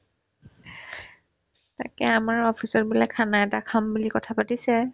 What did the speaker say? তাকে আমাৰ officer বিলাকে khana এটা খাম বুলি কথা পাতিছে